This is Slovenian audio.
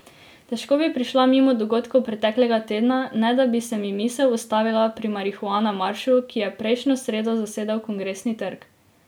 Težko bi šla mimo dogodkov preteklega tedna, ne da bi se mi misel ustavila pri Marihuana maršu, ki je prejšnjo sredo zasedel Kongresni trg.